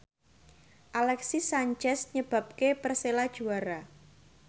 Alexis Sanchez nyebabke Persela juara